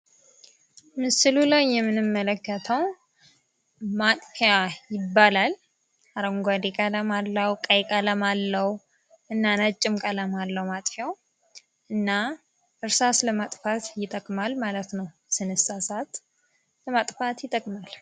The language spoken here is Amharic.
ምስሉ ላይ የምንመለከተው ማጥፊያ ይባላል። አረንጓዴ ቀለም አለው ቀይ ቀለም አለው። እና ነጭም ቀለም አለው መጥፊያው እና እርሳስ ለማጥፋት ይጠቅማል ማለት ነው። ስንሳሳት ለማጥፋት ይጠቅማል።